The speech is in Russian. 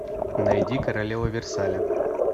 найди королева версаля